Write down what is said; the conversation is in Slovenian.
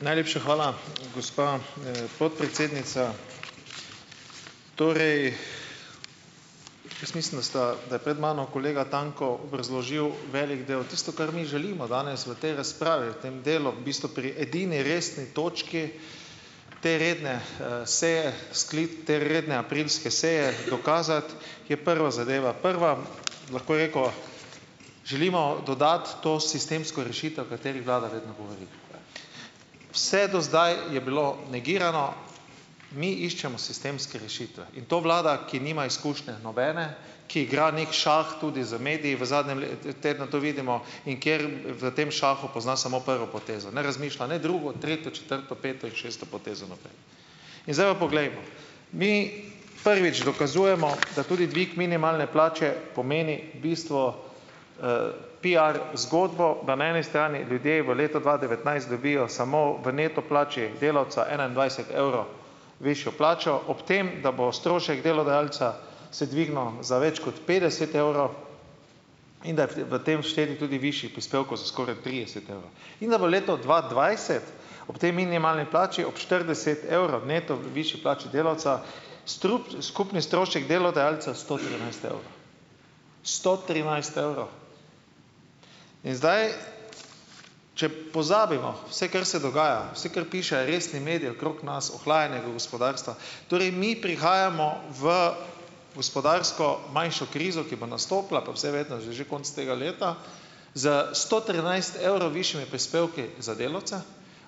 Najlepša hvala, gospa, podpredsednica. Torej, jaz mislim, da sta, da je pred mano kolega Tanko obrazložil velik del. Tisto, kar mi želimo danes v tej razpravi, v tem delu, v bistvu pri edini resni točki te redne, seje te redne aprilske seje dokazati, je prva zadeva, prva, lahko je, ko želimo dodati to sistemsko rešitev, o kateri vlada vedno govori. Vse do zdaj je bilo negirano. Mi iščemo sistemske rešitve. In to vlada, ki nima izkušnje, nobene, ki igra neki šah tudi z mediji, v zadnjem tednu to vidimo, in kjer v tem šahu pozna samo prvo potezo, ne razmišlja ne drugo, tretje, četrto, peto in šesto potezo naprej. In zdaj pa poglejmo! Mi, prvič, dokazujemo, da tudi dvig minimalne plače pomeni bistvu PR zgodbo, da na eni strani ljudje v letu dva devetnajst dobijo samo v neto plači delavca enaindvajset evrov višjo plačo, ob tem da bo strošek delodajalca se dvignil, za več kot petdeset evrov, in da je v v tem vštet tudi višji prispevek za skoraj trideset evrov. In da bo leto dva dvajset ob tej minimalni plači, ob štirideset evrov neto višji plači delavca, skupni strošek delodajalca sto trinajst evrov. Sto trinajst evrov! In zdaj, če pozabimo vse, kar se dogaja, vse, kar pišejo resni mediji okrog nas, ohlajanje gospodarstva, torej mi prihajamo v gospodarsko manjšo krizo, ki bo nastopila po vsej verjetnosti že konec tega leta, s sto trinajst evrov višjimi prispevki za delavca,